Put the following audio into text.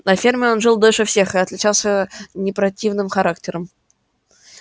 на ферме он жил дольше всех и отличался не противным характером